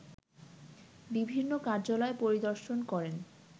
বিভিন্ন কার্যালয় পরিদর্শন করেন